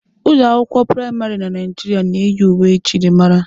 Ụlọ akwụkwọ praịmarị na Naijiria na-eyi uwe njirimara.